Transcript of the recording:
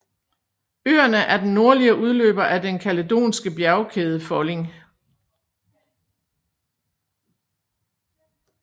Øerne er den nordlige udløber af den kaledonske bjergkædefolding